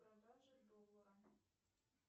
продажа доллара